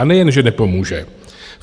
A nejen že nepomůže.